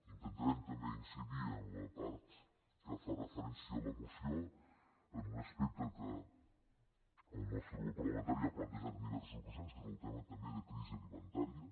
intentarem també incidir en la part que fa referència a la moció en un aspecte que el nostre grup parlamentari ha plantejat en diverses ocasions que és el tema també de crisi alimentària